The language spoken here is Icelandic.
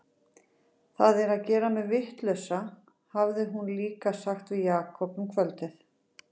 Þetta er að gera mig vitlausa, hafði hún líka sagt við Jakob um kvöldið.